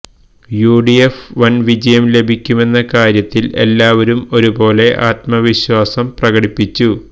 യുഡിഎഫിന് വന് വിജയം ലഭിക്കുമെന്ന കാര്യത്തില് എല്ലാവരും ഒരുപോലെ ആത്മവിശ്വാസം പ്രകടിപ്പിച്ചു